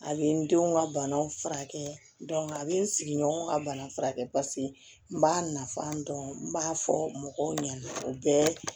A bɛ n denw ka banaw furakɛ a bɛ n sigi ɲɔgɔn ka bana furakɛ pase n b'a nafa dɔn n b'a fɔ mɔgɔw ɲana o bɛɛ